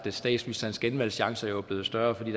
at statsministerens genvalgschancer er blevet større fordi